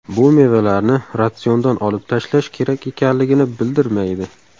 Bu mevalarni ratsiondan olib tashlash kerak ekanligini bildirmaydi.